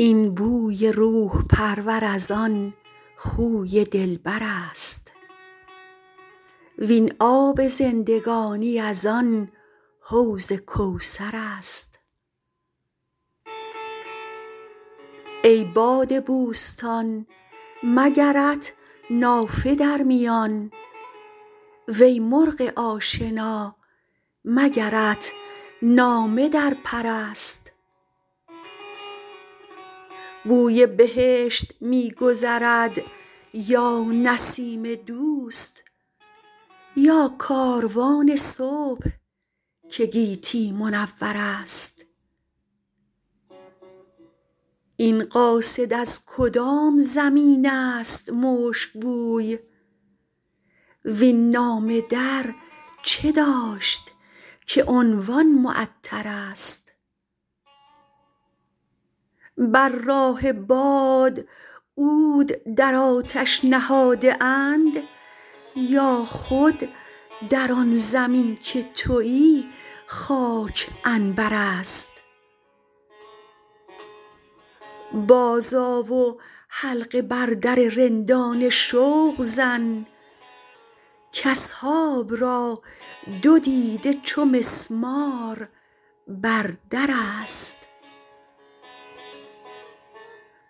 این بوی روح پرور از آن خوی دلبر است وین آب زندگانی از آن حوض کوثر است ای باد بوستان مگرت نافه در میان وی مرغ آشنا مگرت نامه در پر است بوی بهشت می گذرد یا نسیم دوست یا کاروان صبح که گیتی منور است این قاصد از کدام زمین است مشک بوی وین نامه در چه داشت که عنوان معطرست بر راه باد عود در آتش نهاده اند یا خود در آن زمین که تویی خاک عنبر است بازآ و حلقه بر در رندان شوق زن کاصحاب را دو دیده چو مسمار بر در است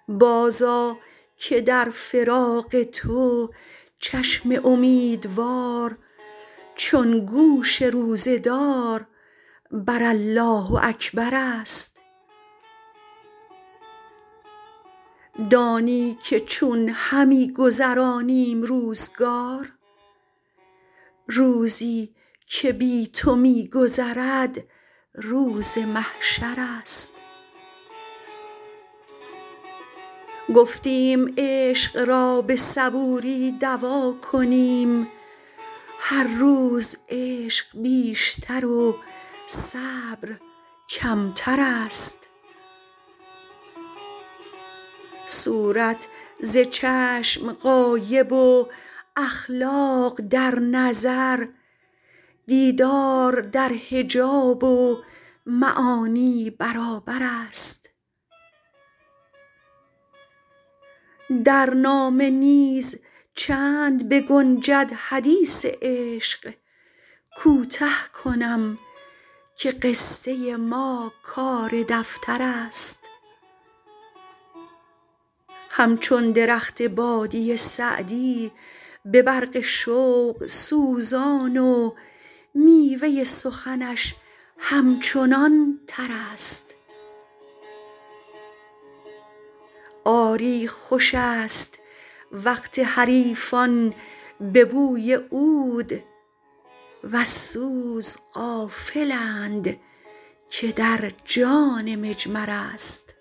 بازآ که در فراق تو چشم امیدوار چون گوش روزه دار بر الله اکبر است دانی که چون همی گذرانیم روزگار روزی که بی تو می گذرد روز محشر است گفتیم عشق را به صبوری دوا کنیم هر روز عشق بیشتر و صبر کمتر است صورت ز چشم غایب و اخلاق در نظر دیدار در حجاب و معانی برابر است در نامه نیز چند بگنجد حدیث عشق کوته کنم که قصه ما کار دفتر است همچون درخت بادیه سعدی به برق شوق سوزان و میوه سخنش همچنان تر است آری خوش است وقت حریفان به بوی عود وز سوز غافلند که در جان مجمر است